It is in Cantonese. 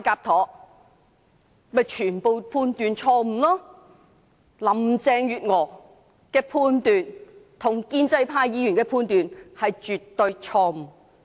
這些全都是錯誤判斷，林鄭月娥的判斷與建制派議員的判斷是絕對錯誤的。